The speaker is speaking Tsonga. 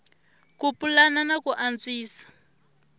ku pulana na ku antswisa